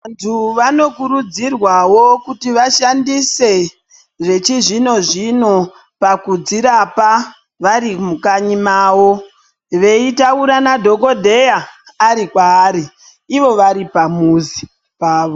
Vantu vanokurudzirwawo kuti vashandise zvechizvino-zvino pakudzirapa vari mukanyi mawo, veitaura nadhokodheya ari kwaari, ivo vari pamuzi pavo.